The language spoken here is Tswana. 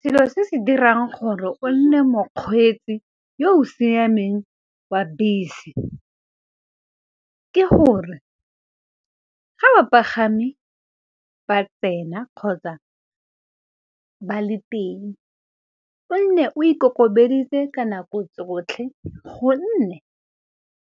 Selo se se dirang gore o nne mokgweetsi yo o siameng wa bese, ke gore ga bapagami ba tsena kgotsa ba le teng o nne o ikokobetse ka nako tsotlhe. Gonne